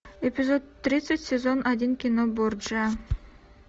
эпизод тридцать сезон один кино борджиа